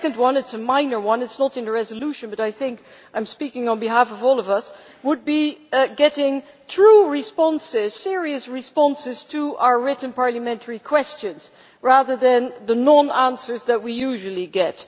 A second point it is a minor one and is not in the resolution, but I think I am speaking on behalf of all of us would be getting true and serious responses to our written parliamentary questions, rather than the non answers that we usually get.